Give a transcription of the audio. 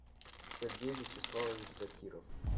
сергей вячеславович закиров